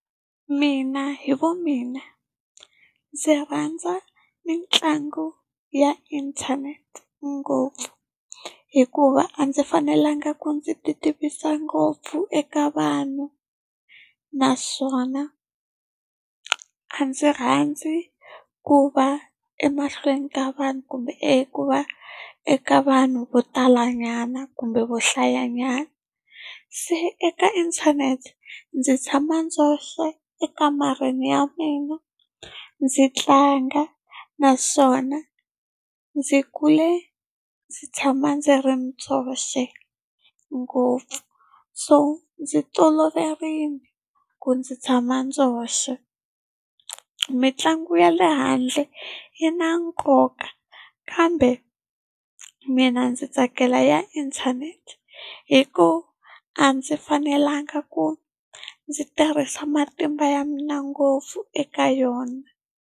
Mina hi vumina ndzi rhandza mitlangu ya inthanete ngopfu. Hikuva a ndzi fanelanga ku ndzi ti tivisa ngopfu eka vanhu, naswona a ndzi rhandzi ku va emahlweni ka vanhu kumbe eku va eka vanhu vo talanyana kumbe vo hlayanyana. Se eka inthanete ndzi tshama ndzexe, ekamareni ya mina, ndzi tlanga. Naswona ndzi kule ndzi tshama ndzi ri ndzexe ngopfu. So ndzi toloverile ku ndzi tshama ndzexe. Mitlangu ya le handle yi na nkoka, kambe mina ndzi tsakela ya inthanete hikuva a ndzi fanelanga ku ndzi tirhisa matimba ya mina ngopfu eka yona.